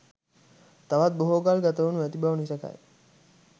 තවත් බොහෝ කල් ගතවනු ඇති බව නිසැකයි.